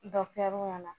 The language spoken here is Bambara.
ɲɛna